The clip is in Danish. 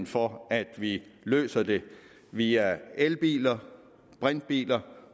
for at vi løser dem via elbiler brintbiler